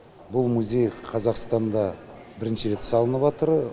бұл музей қазақстанда бірінші салыныватыр